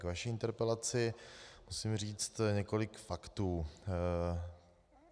K vaší interpelaci musím říct několik faktů.